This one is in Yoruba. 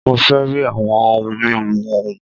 Mó fẹ rí àwọn ohun mímu òhún!